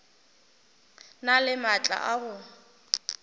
na le maatla a go